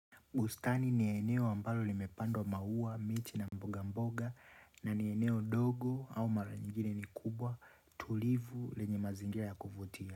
Bustani ni eneo ambalo limepandwa maua, miti na mboga mboga na ni eneo dogo au mara nyingine ni kubwa tulivu lenye mazingira ya kufutia.